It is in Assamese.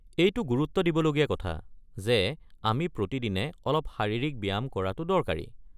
এইটো গুৰুত্ব দিবলগীয়া কথা যে আমি প্ৰতিদিনে অলপ শাৰীৰিক ব্যায়াম কৰাটো দৰকাৰী।